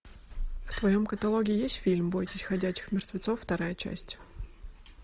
в твоем каталоге есть фильм бойтесь ходячих мертвецов вторая часть